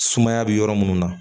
Sumaya bɛ yɔrɔ minnu na